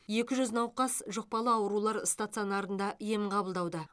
екі жүз науқас жұқпалы аурулар стационарында ем қабылдауда